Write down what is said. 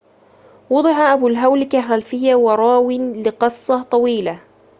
وُضع أبو الهول كخلفيّة وراوٍ لقصّة طويلة